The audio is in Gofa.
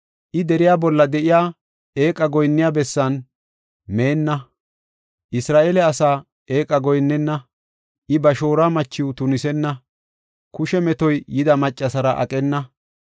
I deriya bolla de7iya eeqa goyinniya bessan meenna; Isra7eele asaa eeqa goyinnenna; ba shooruwa machiw tunisenna; kushe metora de7iya maccara aqena;